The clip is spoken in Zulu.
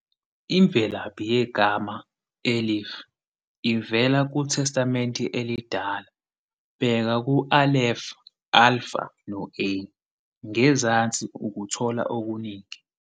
Imvelaphi yegama Elif ivela kuTestamente Elidala, bheka u-Aleph, Alpha no-A, ngezansi ukuthola okuningi.